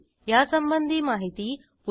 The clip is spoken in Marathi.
यासंबंधी माहिती पुढील साईटवर उपलब्ध आहे